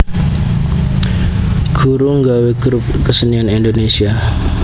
Guruh nggawé grup kesenian Indonésia